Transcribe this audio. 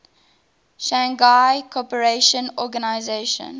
shanghai cooperation organization